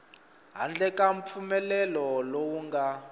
handle ka mpfumelelo lowu nga